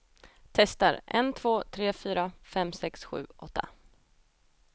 Testar en två tre fyra fem sex sju åtta.